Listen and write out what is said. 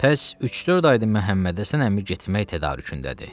Bəs üç-dörd aydır Məhəmmədhəsən əmi getmək tədarükündədir.